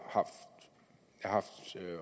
haft